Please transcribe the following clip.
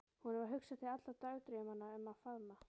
Honum varð hugsað til allra dagdraumanna um að faðma